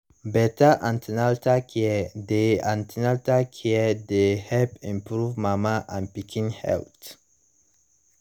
better an ten atal care dey an ten atal care dey help improve mama and pikin health